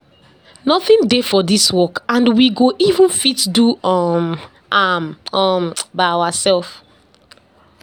Nothing dey for dis work and we go even fit do um am um by ourselves.